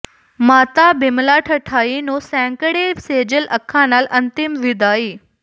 ਮਾਤਾ ਬਿਮਲਾ ਠਠਈ ਨੂੰ ਸੈਂਕੜੇ ਸੇਜਲ ਅੱਖਾਂ ਨਾਲ ਅੰਤਿਮ ਵਿਦਾਈ